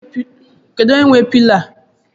Kedụ onye nwe pilo a?